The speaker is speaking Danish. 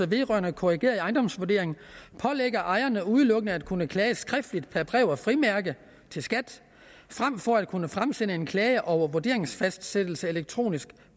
vedrørende korrigeret ejendomsvurdering pålægger ejerne udelukkende at kunne klage skriftligt per brev med frimærke til skat frem for at kunne fremsende en klage over en vurderingsfastsættelse elektronisk